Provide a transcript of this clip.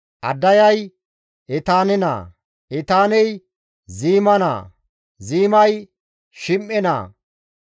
Addayay Etaane naa; Etaaney Ziima naa; Ziimay Shim7e naa;